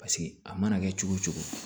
Paseke a mana kɛ cogo cogo